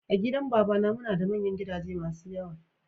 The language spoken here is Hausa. A gidan babana muna da manyan gidaje masun yawa.